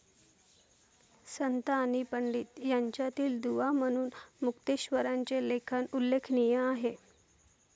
संत आणि पंडित यांच्यातील दुवा म्हणून मुक्तेश्वरांचे लेखन उल्लेखनीय आहे.